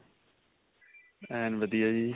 ਐਨ ਵਧੀਆਂ ਜੀ.